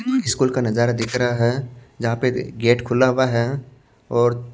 school का नजारा दिख रहा है जहां पे गेट खुला हुआ है और--